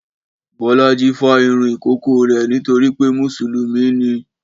Bọ́lájí fá irun ìkókó rẹ̀ nítorí pé Mùsùlùmí ni